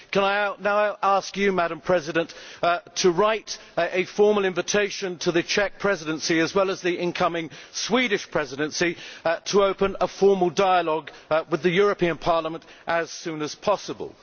Can I now ask you, Madam President, to write a formal invitation to the Czech Presidency, as well as the incoming Swedish Presidency, to open a formal dialogue with the European Parliament as soon as possible?